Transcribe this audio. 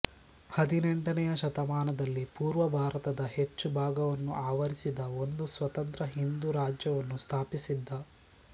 ಹದಿನೆಂಟನೆಯ ಶತಮಾನದಲ್ಲಿ ಪೂರ್ವ ಭಾರತದ ಹೆಚ್ಚು ಭಾಗವನ್ನು ಆವರಿಸಿದ್ದ ಒಂದು ಸ್ವತಂತ್ರ ಹಿಂದೂ ರಾಜ್ಯವನ್ನು ಸ್ಥಾಪಿಸಿದ್ದ